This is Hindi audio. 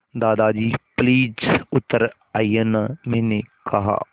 दादाजी प्लीज़ उतर आइये न मैंने कहा